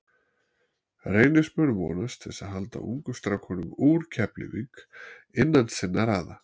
Reynismenn vonast til að halda ungum strákum úr Keflavík innan sinna raða.